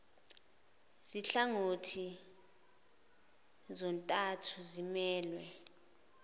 zinhlangothi zontathu zimelwe